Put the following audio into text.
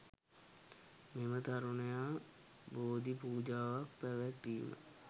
මෙම තරුණයා බෝධි පූජාවක්‌ පැවැත්වීම